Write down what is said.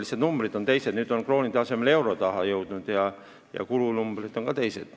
Lihtsalt numbrid on teised, nüüd on kroonide asemel eurod ja kulunumbrid on ka teised.